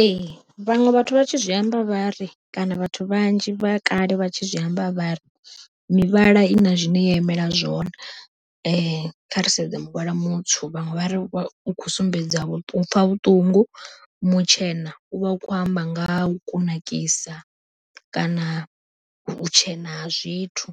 Ee vhaṅwe vhathu vha tshi zwi amba vhari kana vhathu vhanzhi vha kale vha tshi zwi amba vhari mivhala i na zwine ya imela zwone, kha ri sedze muvhala mutswu vhaṅwe vha ri u khou sumbedza u pfha vhuṱungu, mutshena u vha u khou amba nga ha u kunakisa kana vhutshena ha zwithu.